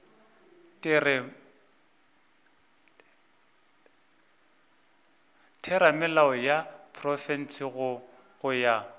theramelao ya profense go ya